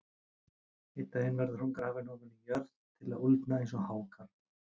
Einn daginn verður hún grafin ofan í jörð til að úldna eins og hákarl.